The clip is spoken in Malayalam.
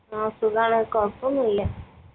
ആ സുഖാണ് കൊഴപോന്നൂല